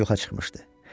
Maşına yoxa çıxmışdı.